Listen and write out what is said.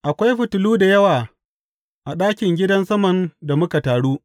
Akwai fitilu da yawa a ɗakin gidan saman da muka taru.